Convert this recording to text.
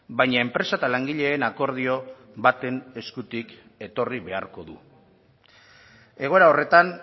baina enpresa eta langileen akordio baten eskutik etorri beharko du egoera horretan